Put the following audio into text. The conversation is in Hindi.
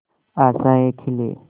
आशाएं खिले